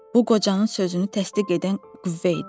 Bu qocanın sözünü təsdiq edən qüvvə idi.